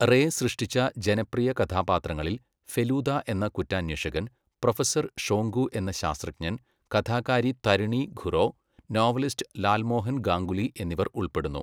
Ray സൃഷ്ടിച്ച ജനപ്രിയ കഥാപാത്രങ്ങളിൽ ഫെലൂദ എന്ന കുറ്റാന്വേഷകൻ, പ്രൊഫസർ ഷോങ്കു എന്ന ശാസ്ത്രജ്ഞൻ, കഥാകാരി തരിണി ഖുറോ, നോവലിസ്റ്റ് ലാൽമോഹൻ ഗാംഗുലി എന്നിവർ ഉൾപ്പെടുന്നു.